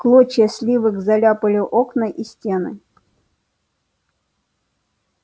клочья сливок заляпали окна и стены